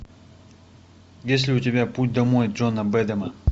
есть ли у тебя путь домой джона бэдэма